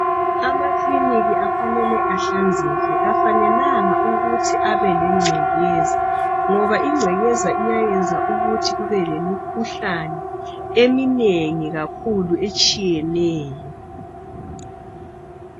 Amakilinika afanele ehlanzeke , kafanelanganukuthi abe lengcekeza ngoba ingcekeza iyayenza ukuthi kube lemikhuhlane eminengi kakhulu etshiyeneyo